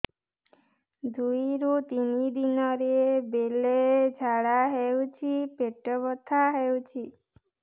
ଦୁଇରୁ ତିନି ଦିନରେ ବେଳେ ଝାଡ଼ା ହେଉଛି ପେଟ ବଥା ହେଉଛି